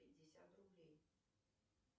пятьдесят рублей